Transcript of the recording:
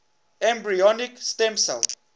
embryonic stem cell